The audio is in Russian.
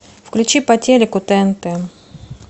включи по телеку тнт